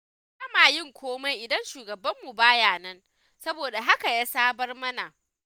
Ba ma yin komai idan shugabanmu ba ya nan, saboda haka ya sabar mana.